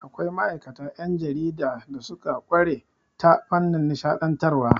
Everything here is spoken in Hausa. Akwai ma'aikata 'yan jarida da suka ƙware ta fannin nishaɗantarwa.